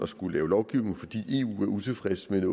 skulle lave lovgivning fordi eu er utilfreds med